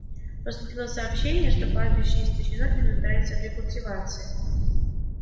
поступило сообщение что пастбище истощено и нуждается в рекультивации